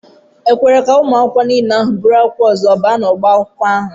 E kwere ka ụmụ akwụkwọ ahụ niile buru akwụkwọ ọzọ baa n'ọbá akwụkwọ ahụ?